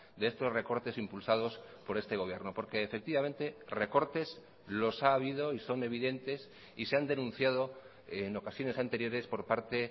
de estos recortes impulsados por este gobierno porque efectivamente recortes los ha habido y son evidentes y se han denunciado en ocasiones anteriores por parte